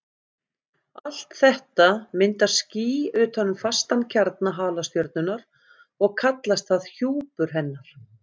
Allt þetta myndar ský utan um fastan kjarna halastjörnunnar og kallast það hjúpur hennar.